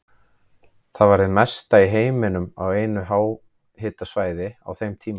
Það var hið mesta í heiminum á einu háhitasvæði á þeim tíma.